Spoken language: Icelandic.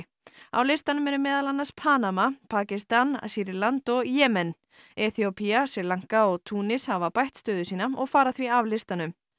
á listanum eru meðal annars Panama Pakistan Sýrland og Jemen Eþíópía Sri Lanka og Túnis hafa bætt stöðu sína og fara því af listanum